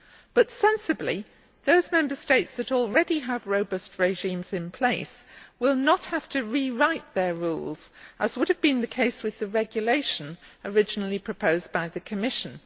But, sensibly, those Member States that already have robust regimes in place will not have to rewrite their rules, as would have been the case with the regulation originally proposed by the Commission.